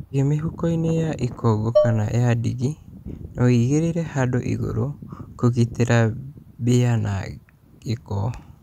Cige mĩhukoinĩ ya ikongo kana ya ndigi na ũigĩrĩre handũ igũrũ kũgitĩra mbĩa na gĩko